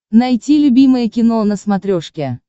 найти любимое кино на смотрешке